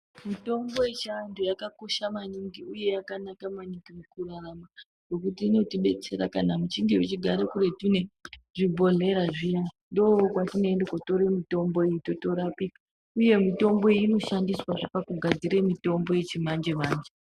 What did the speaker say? Mitombo yechi antu yakakosha maningi uye yakanaka maningi muku rarama ngekuti inoti betsera kana muchinge vachigara kuretu nezvi bhohleya zviya ndo kwatino ende kotore mutombo iyi totorapika uye mitombo iyi inoshandiswa zve paku gadzire mitombo yechi manje manje.